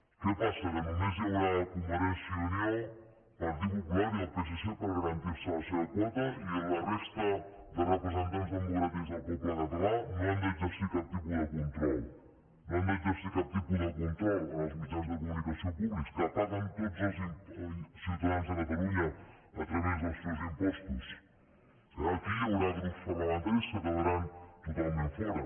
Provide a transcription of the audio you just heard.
què passa que només hi haurà convergència i unió partit popular i el psc per garantir se la seva quota i la resta de representants democràtics del poble català no han d’exercir cap tipus de control no han d’exercir cap tipus de control en els mitjans de comunicació públics que paguen tots els ciutadans de catalunya a través dels seus impostos aquí hi haurà grups parlamentaris que quedaran totalment fora